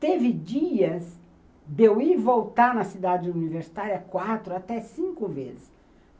Teve dias de eu ir e voltar na cidade universitária quatro, até cinco vezes.